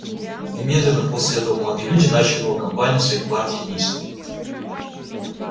немедленно после этого молодые люди начали новую кампанию своей партии действия